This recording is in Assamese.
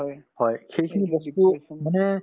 হয় সেইখিনি বস্তু মানে